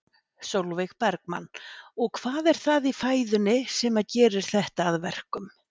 Sólveig Bergmann: Og hvað er það í fæðunni sem að gerir þetta að verkum?